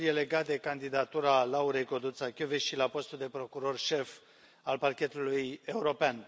Primul este legat de candidatura Laurei Codruța Kövesi la postul de procuror șef al Parchetului European.